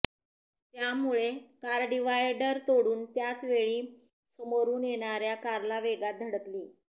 त्यामुळे car divider तोडून त्याचवेळी समोरून येणाऱ्या कारला वेगात धडकली